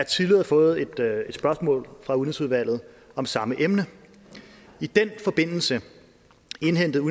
tidligere fået et spørgsmål fra udenrigsudvalget om samme emne i den forbindelse indhentede